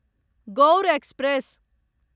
Gaur express